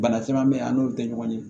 Bana caman bɛ ye a n'o tɛ ɲɔgɔn ye